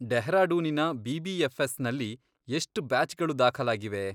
ಡೆಹ್ರಾಡೂನಿನ ಬಿ.ಬಿ.ಎಫ್.ಎಸ್.ನಲ್ಲಿ ಎಷ್ಟ್ ಬ್ಯಾಚ್ಗಳು ದಾಖಲಾಗಿವೆ?